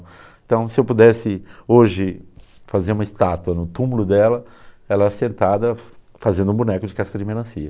Então, se eu pudesse hoje fazer uma estátua no túmulo dela, ela sentada fazendo um boneco de casca de melancia.